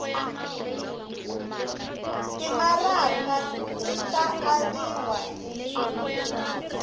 timaraka ti ta aviwa hi